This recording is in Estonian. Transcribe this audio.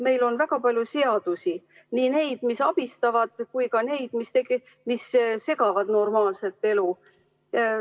Meil on väga palju seadusi, nii neid, mis abistavad, kui ka neid, mis segavad normaalset elu.